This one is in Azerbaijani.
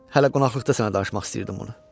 Hələ qonaqlıqda sənə danışmaq istəyirdim bunu.